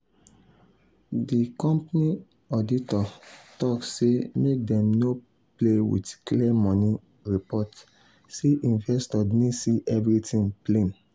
the company auditor talk say make dem no play with clear money report say investors need see everything plain.